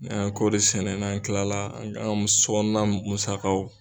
N'an ye kɔɔri sɛnɛ n'an kilala an ka sɔkɔnɔna musakaw